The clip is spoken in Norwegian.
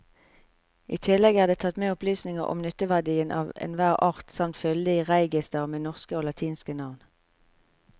I tillegg er det tatt med opplysninger om nytteverdien av enhver art samt fyldig reigister med norske og latinske navn.